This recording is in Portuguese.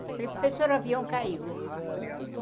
Eu falei, professora, o avião caiu.